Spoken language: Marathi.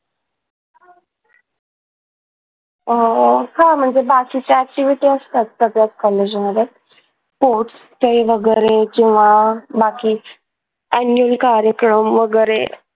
अह हा म्हणजे बाकीच्या activity असतात सगळ्याच कॉलेजमध्ये sports खेळ वगैरे जेव्हा बाकी आणि कार्यक्रम वगैरे